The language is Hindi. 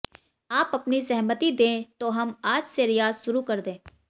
आप अपनी सहमति दें तो हम आज से रियाज शुरू कर दें